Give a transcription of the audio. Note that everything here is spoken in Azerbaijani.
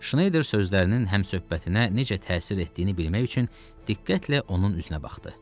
Şneyder sözlərinin həmsohbətinə necə təsir etdiyini bilmək üçün diqqətlə onun üzünə baxdı.